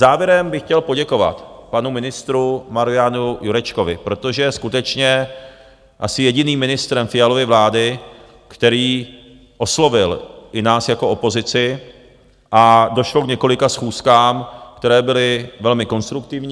Závěrem bych chtěl poděkovat panu ministru Marianu Jurečkovi, protože je skutečně asi jediným ministrem Fialovy vlády, který oslovil i nás jako opozici, a došlo k několika schůzkám, které byly velmi konstruktivní.